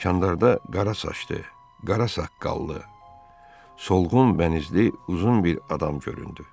Kandarda qara saçlı, qara saqqallı, solğun bənizli uzun bir adam göründü.